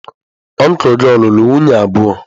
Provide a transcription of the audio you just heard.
Ọncụl gị ọ̀ lụrụ nwunye abụọ?